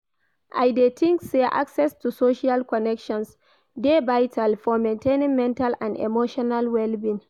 I dey think say access to social connections dey vital for maintaining mental and emotional well-being.